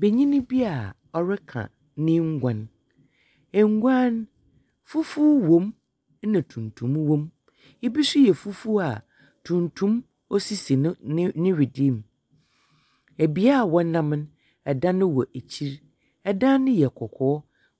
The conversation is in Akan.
Banyin bi a ɔreka no nguan. Nguan no, fufuw wɔ mu na tuntum wɔ mu, bi nso yɛ fufuw a tuntum sisi no ne ne wedee mu. Bea a wɔnam no, dan wɔ ekyir, dan no yɛ kɔkɔɔ.